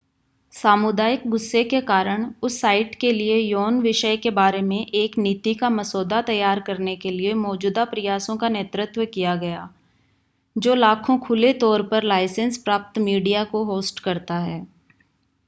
सामुदायिक गुस्से के कारण उस साइट के लिए यौन विषय के बारे में एक नीति का मसौदा तैयार करने के लिए मौजूदा प्रयासों का नेतृत्व किया गया जो लाखों खुले तौर पर लाइसेंस प्राप्त मीडिया को होस्ट करता है